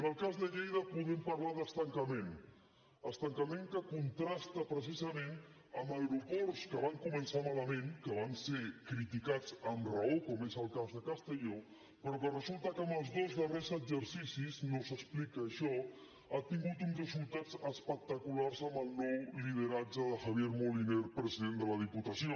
en el cas de lleida podem parlar d’estancament estancament que contrasta precisament amb aeroports que van començar malament que van ser criticats amb raó com és el cas de castelló però que resulta que en els dos darrers exercicis i no s’explica això ha tingut uns resultats espectaculars amb el nou lideratge de javier moliner president de la diputació